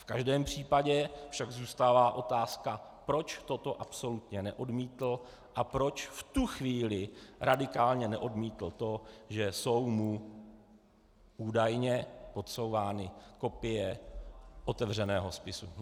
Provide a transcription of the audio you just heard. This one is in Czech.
V každém případě však zůstává otázka, proč toto absolutně neodmítl a proč v tu chvíli radikálně neodmítl to, že jsou mu údajně podsouvány kopie otevřeného spisu.